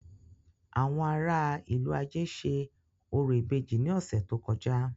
Àwọn ará a ìlú-ajé ṣe orò ìbejì ní ọ̀sẹ̀ tó kọjá.